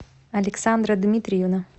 александра дмитриевна